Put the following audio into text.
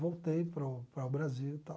Voltei para o para o Brasil e tal.